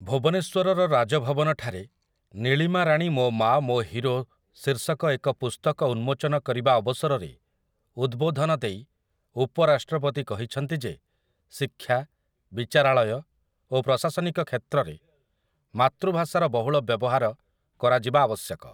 ଭୁବନେଶ୍ୱରର ରାଜଭବନଠାରେ, 'ନୀଳିମାରାଣୀ ମୋ ମା, ମୋ ହୀରୋ' ଶୀର୍ଷକ ଏକ ପୁସ୍ତକ ଉନ୍ମୋଚନ କରିବା ଅବସରରେ ଉଦ୍ୱୋଧନ ଦେଇ ଉପରାଷ୍ଟ୍ରପତି କହିଛନ୍ତି ଯେ ଶିକ୍ଷା, ବିଚାରାଳୟ ଓ ପ୍ରଶାସନିକ କ୍ଷେତ୍ରରେ ମାତୃଭାଷାର ବହୁଳ ବ୍ୟବହାର କରାଯିବା ଆବଶ୍ୟକ ।